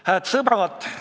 Hääd sõbrad!